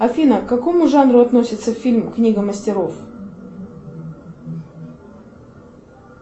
афина к какому жанру относится фильм книга мастеров